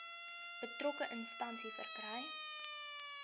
betrokke instansie verkry